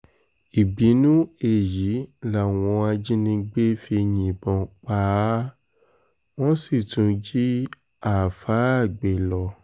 ìbínú èyí làwọn ajínigbé fi yìnbọn pa á wọ́n sì tún jí àáfàá gbé lọ